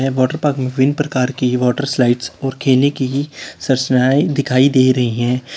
Water park में विभिन्न प्रकार की है वाटर स्लाइड और खेलने की ही संरचनाएं दिखाई दे रही हैं।